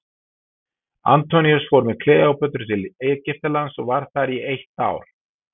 Antoníus fór með Kleópötru til Egyptalands og var þar í eitt ár.